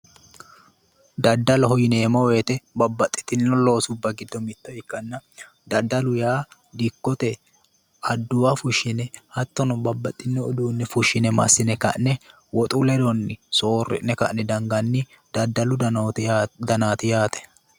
Daddaloho yineemmo woyite babbaxxitinno loosubba giddo mitto ikkanna daddalu yaa dikkote adduwa fushshine hattono babbaxxinno uduunne fushshine massine ka'ne woxu ledonni soorri'ne ka'ne danganni daddalu danaati yaate.